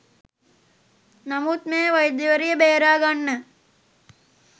නමුත් මෙම වෛද්‍යවරිය බේරාගන්න